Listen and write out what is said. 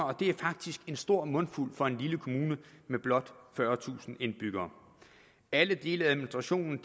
og det er faktisk en stor mundfuld for en lille kommune med blot fyrretusind indbyggere alle dele af administrationen